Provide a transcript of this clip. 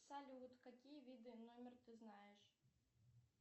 салют какие виды номер ты знаешь